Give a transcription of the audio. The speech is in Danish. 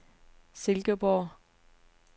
Silkeborg